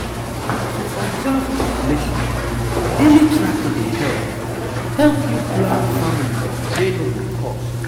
to observe ovulation daily tracking dey help help you plan family wey no go cost